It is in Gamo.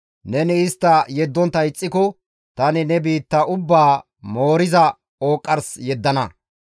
neni istta yeddontta ixxiko tani ne biitta ubbaa mooriza ooqqars yeddana.